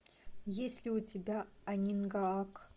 есть ли у тебя анингаак